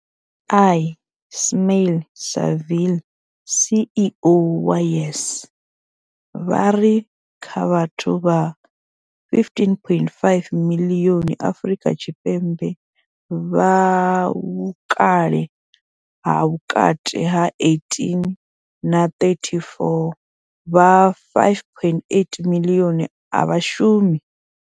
Ismail-Saville CEO wa YES, vha ri kha vhathu vha 15.5 miḽioni Afrika Tshipembe vha vhukale ha vhukati ha 18 na 34, vha 5.8 miḽioni a vha shumi.